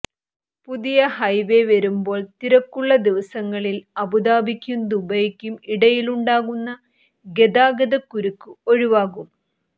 പുതിയ ഹൈവെ വരുമ്പോൾ തിരക്കുള്ള ദിവസങ്ങളിൽ അബുദാബിക്കും ദുബൈക്കും ഇടയിലുണ്ടാകുന്ന ഗതാഗത കുരുക്ക് ഒഴിവാകും